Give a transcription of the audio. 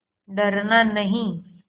डरना नहीं